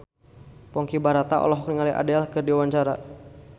Ponky Brata olohok ningali Adele keur diwawancara